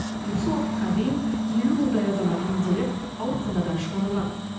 осы уақытқа дейін елу мыңдай азамат емделіп ауруханадан шығарылған